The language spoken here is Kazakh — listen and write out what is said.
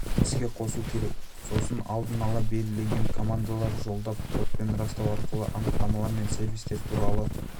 іске қосу керек сосын алдын-ала белгіленген командаларды жолдап кодпен растау арқылы анықтамалар мен сервистер туралы